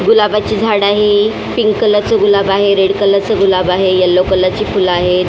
गुलाबाची झाडं आहे पिंक कलर च गुलाब आहे रेड कलर च गुलाब आहे येल्लो कलर ची फुलं आहेत.